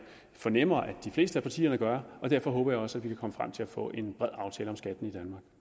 fornemmer at de fleste af partierne gør og derfor håber jeg også at vi kan komme frem til at få en bred aftale om skatten